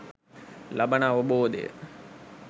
ලබන අවබෝධය